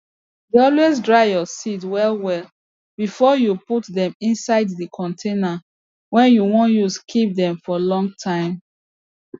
dey always dry your seed well well before you put dem inside di container wey you wan use keep dem for long time